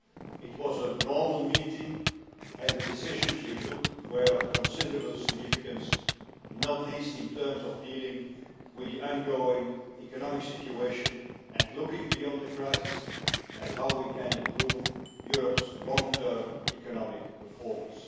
It was a normal meeting and the decisions we took were of considerable significance, not least in terms of dealing with the ongoing economic situation and looking beyond the crisis at how we can improve Europe's long term economic performance.